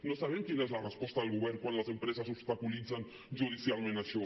no sabem quina és la resposta del govern quan les empreses obstaculitzen judicialment això